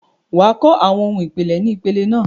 wà á kọ́ àwọn ohun ìpìlẹ̀ ni ìpele náà.